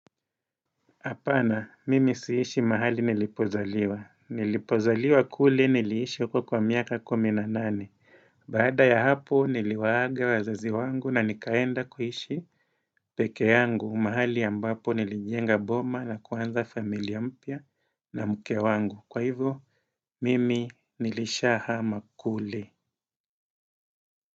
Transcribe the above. Hapana, mimi sihishi mahali nilipozaliwa. Nilipozaliwa kule niliishi uko kwa miaka kumi na nane. Baada ya hapo niliwaage wazazi wangu na nikaenda kuhishi peke yangu mahali ambapo nilijenga boma na kuanza familia mpya na mke wangu. Kwa hivo, mimi nilishahama kule.